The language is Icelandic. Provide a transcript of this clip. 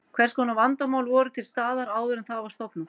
Hvers konar vandamál voru til staðar áður en það var stofnað?